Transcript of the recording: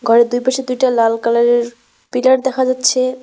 ঘরের দুই পাশে দুইটা লাল কালার -এর পিলার দেখা যাচ্ছে।